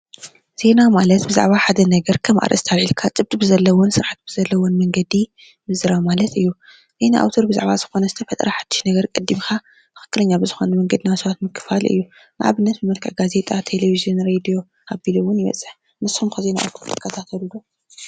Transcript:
ዜና ማለት ብዛዕባ ሓደ ነገር ከም ኣርእስቲ ኣልዒልካ ጭብጢ ብዘለዎን ስርዓት ብዘለዎን መንገዲ ምዝራብ ማለት እዩ:: ዜና ኣዉትር ዝኮነ ዝተፈጥረ ሓድሽ ነገር ቀዲምካ ትክክለኛ ብዝኮነ መንገዲ ናብ ሰባት ምክፋል እዩ:: ንኣብነት ብመልክዕ ጋዜጣ፣ ቴሌቪዝን፣ ራድዮ ኣቢሉ እዉን ይበፅሕ:: ንስኩም ከ ዜና ኣዉትር ትከታተሉ ዶ?